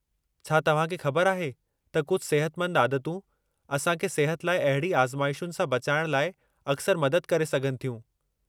छा तव्हां खे ख़बर आहे त कुझ सिहतमंद आदतूं असां खे सिहत लाइ अहिड़ी आज़माइशुनि सां बचाइण लाइ अक्सरि मदद करे सघनि थियूं?